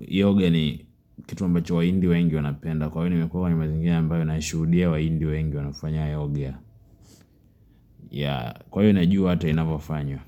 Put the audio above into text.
yoga ni kitu ambacho wahindi wengi wanapenda, kwa hiyo nimekuwa kwenye mazingira ambayo naishuhudia wahindi wengi wanafanya yoga, Yeah, kwa hiyo najua hata inavyofanywa.